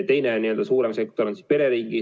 Teine suurem sektor on perering.